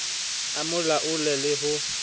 a mo laole le ho